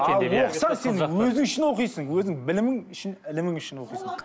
ал оқысаң сен өзің үшін оқисың өзің білімің үшін ілімің үшін оқисың